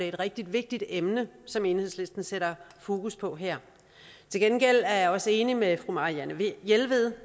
et rigtig vigtigt emne som enhedslisten sætter fokus på her til gengæld er jeg også enig med fru marianne jelved